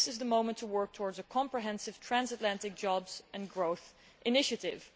This is the moment to work towards a comprehensive transatlantic jobs and growth initiative.